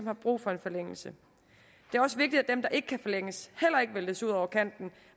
har brug for en forlængelse det er også vigtigt at dem der ikke kan forlænges heller ikke væltes ud over kanten